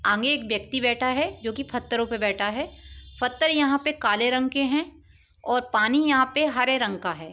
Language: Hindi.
आगे एक व्यक्ति बैठा है जोकि पत्थरो पे बैठा है। पत्थर यहाँ पे काले रंग के हैं और पानी यहाँ पे हरे रंग का है।